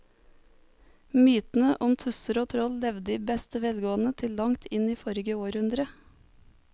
Mytene om tusser og troll levde i beste velgående til langt inn i forrige århundre.